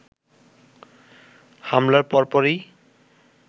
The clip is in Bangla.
হামলার পরপরই